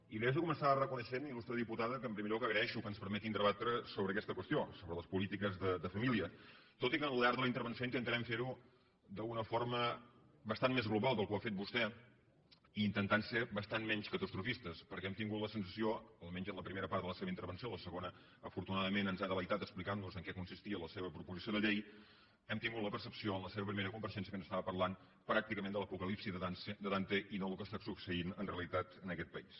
i li haig de començar reconeixent il·lustre diputada que en primer lloc agraeixo que ens permetin debatre sobre aquesta qüestió sobre les polítiques de família tot i que al llarg de la intervenció intentarem ferho d’una forma bastant més global de com ho ha fet vostè i intentant ser bastant menys catastrofistes perquè hem tingut la sensació almenys en la primera part de la seva intervenció en la segona afortunadament ens ha delectat explicantnos en què consistia la seva proposició de llei hem tingut la percepció en la seva primera part de compareixença que ens estava parlant pràcticament de l’apocalipsi de dante i no del que està succeint en realitat en aquest país